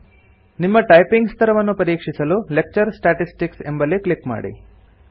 ನಿಮ್ಮ ಟೈಪಿಂಗ್ ಸ್ತರವನ್ನು ಪರೀಕ್ಷಿಸಲು ಲೆಕ್ಚರ್ ಸ್ಟಾಟಿಸ್ಟಿಕ್ಸ್ ಎಂಬಲ್ಲಿ ಕ್ಲಿಕ್ ಮಾಡಿ